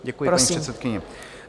Děkuji, paní předsedkyně.